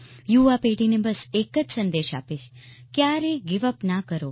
યુવા પેઢીને બસ એક જ સંદેશ આપીશ ક્યારેય ગિવ યુપી ન કરો